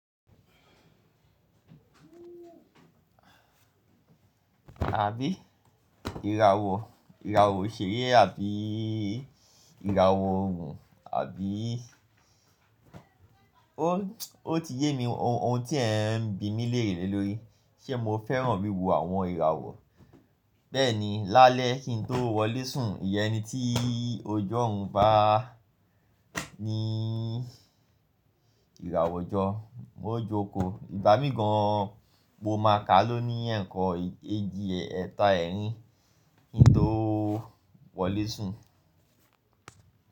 Àbí ìràwọ̀? Ìràwọ̀ òṣèré àbí ìràwọ̀ òòrùn àbí ó ti yé mi ohun tí ẹ̀ ń bímí léèrè lé lo rí, ṣé mo fẹ́ràn wíwo àwọn ìràwọ̀? Bẹ́ẹ̀ni, lálẹ́ kí n tó wọlé sùn, ìyẹn ni tí òjò ohun bá ní ìràwọ̀ ọjọ́, mo jókòó. Ìgbà míì gan-an mo máa ka lóní ẹ̀kan eji ẹ̀ta ẹ̀rin kí n tó wọlé sùn.